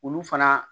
Olu fana